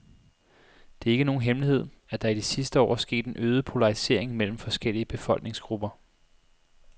Det er ikke nogen hemmelighed, at der i de sidste år er sket en øget polarisering mellem forskellige befolkningsgrupper.